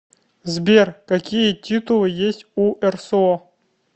сбер какие титулы есть у рсо